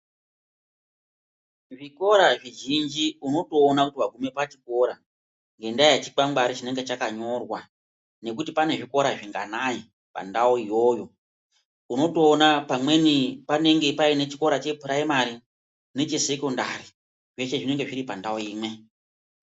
Zvikora zvizhinji unotoona waguma pachikora nenyaya yechikwangwari chinenge chakanyorwa nekuti pane zvikora zvinganai Pandau iyoyo unotoona pamweni panenge pane chikora chepuraimari nechesokandiri zvinonga zviri pandau imwe.